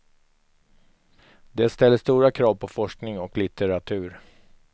Det ställer stora krav på forskning och littaratur.